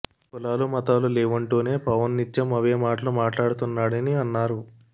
కులాలు మతాలు లేవంటూనే పవన్ నిత్యం అవే మాటలు మాట్లాడుతున్నాడని అన్నారు